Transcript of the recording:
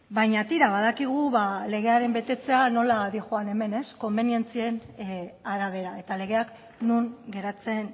baina tira badakigu legearen betetzea nola doan hemen konbenientzien arabera eta legeak non geratzen